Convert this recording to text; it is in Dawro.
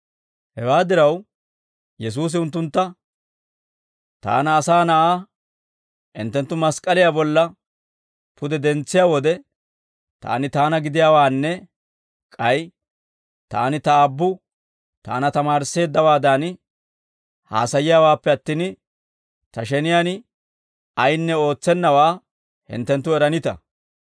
Hewaa diraw, Yesuusi unttuntta, «Taana Asaa Na'aa hinttenttu mask'k'aliyaa bolla pude dentsiyaa wode, Taani Taana gidiyaawaanne k'ay Taani Ta Aabbu Taana tamaarisseeddawaadan haasayiyaawaappe attin, Ta sheniyaan ayinne ootsennawaa hinttenttu eranita.